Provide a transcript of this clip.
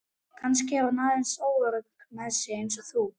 Kannski er hún aðeins óörugg með sig eins og þú.